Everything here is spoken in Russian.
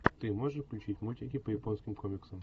ты можешь включить мультики по японским комиксам